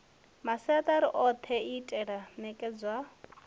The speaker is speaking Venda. masiatari othe itea u nekedzwa